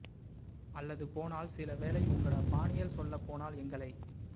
அல்லது போனால் சில வேளை உங்கட பாணியில் சொல்லப் போனால் எங்களை